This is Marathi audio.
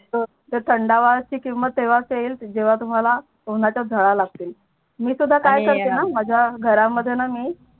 तर थंडावची किमत तेवाच येईल जेव्हा तुम्हाला उनाच्या झडा लागते मी सुद्धा आणि काय करते णा माझ्या घरामध्ये णा मी